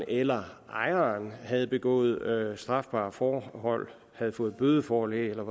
eller ejeren havde begået strafbare forhold havde fået bødeforlæg eller